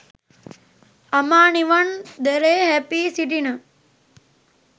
අමා නිවන් දොරේ හැපී සිටින